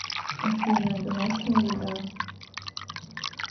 афина домашняя еда